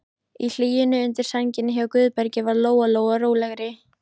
Í hlýjunni undir sænginni hjá Guðbergi varð Lóa-Lóa rólegri.